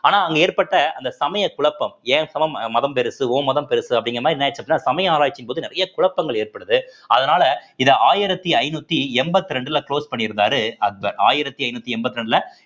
ஆனா அங்க ஏற்பட்ட அந்த சமய குழப்பம் என் சமம் மதம் பெருசு உன் மதம் பெருசு அப்படிங்கிற மாதிரி என்னாயிடுச்சு அப்படின்னா சமய ஆராய்ச்சியின் போது நிறைய குழப்பங்கள் ஏற்படுது அதனால இத ஆயிரத்தி ஐநூத்தி எண்பத்தி ரெண்டுல close பண்ணியிருந்தாரு அக்பர் ஆயிரத்தி ஐந்நூத்தி எண்பத்தி ரெண்டுல